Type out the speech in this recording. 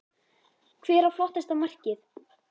Hver á flottasta markið?